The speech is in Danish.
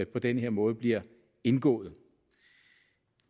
på den her måde bliver indgået